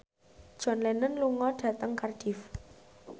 John Lennon lunga dhateng Cardiff